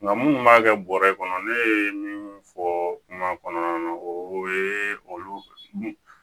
Nka minnu b'a kɛ bɔrɛ kɔnɔ ne ye min fɔ kuma kɔnɔna na o ye olu